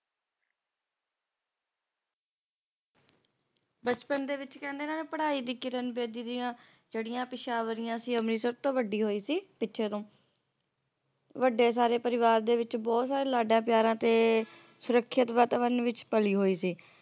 ਬਚਪਨ ਦੇ ਵਿੱਚ ਕਹਿੰਦੇ ਨਾ ਪੜ੍ਹਾਈ ਦੀ ਕਿਰਨ ਬੇਦੀ ਦੀਆਂ ਜਿਹੜੀਆਂ ਪਿਸ਼ਵਾਰੀਆਂ ਸੀ ਅੰਮ੍ਰਿਤਸਰ ਤੋਂ ਵੱਡੀ ਹੋਈ ਸੀ ਤੇ ਜਦੋ ਵੱਡੇ ਸਾਰੇ ਪਰਿਵਾਰ ਦੇ ਵਿੱਚ ਬਹੁਤ ਸਾਰੇ ਲਾਡਾਂ ਪਿਆਰਾਂ ਤੇ ਸੁਰੱਖਿਅਤ ਵਾਤਾਵਰਨ ਵਿੱਚ ਪਲੀ ਹੋਈ ਸੀ